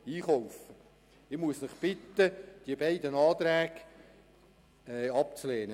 Ich muss Sie bitten, die beiden Anträge abzulehnen.